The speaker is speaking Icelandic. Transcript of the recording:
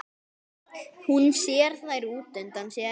Hún sér þær útundan sér.